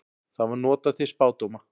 Það var notað til spádóma.